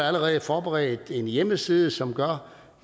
allerede forberedt en hjemmeside som gør